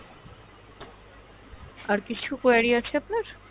আর কিছু query আছে আপনার?